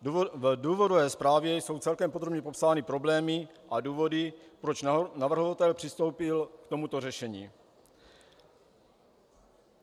V důvodové zprávě jsou celkem podrobně popsány problémy a důvody, proč navrhovatel přistoupil k tomuto řešení.